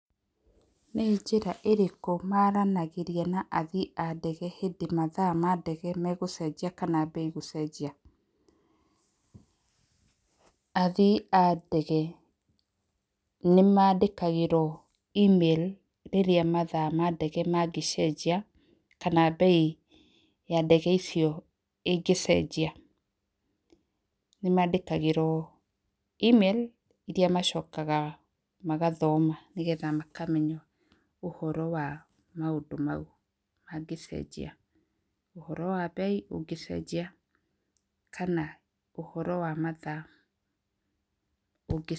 Nĩ njĩra ĩrĩku maranagĩria na athii a ndege hindi mathaa ma ndege megucejia kana bei gucenjia, athii a ndege nĩ mandĩkagĩrwo email rĩrĩa mathaa ma ndege mangĩcenjia kana mbei ya ndege icip ĩngĩcenjia, nĩ mandĩkagĩrwo email iria macokaga magathoma nĩgetha makamenya ũhoro wa maũndũ mau mangĩcenjia, ũhoro wa mbei ũngĩcenjia kana ũhoro wa mathaa ũngĩcenjia.